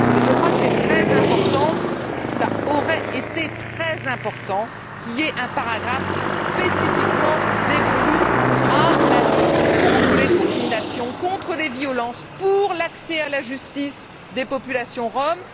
Mais je crois que c'est très important, qu'il aurait été très important qu'il y ait un paragraphe spécifiquement dévolu à la lutte contre les discriminations, contre les violences, pour l'accès à la justice des populations roms.